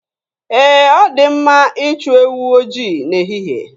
Ee, ọ dị mma ịchụ ewu ojii n'ehihe.